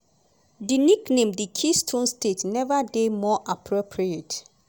di nickname di keystone state neva dey more appropriate.